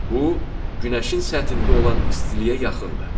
Bu Günəşin səthində olan istiliyə yaxındır.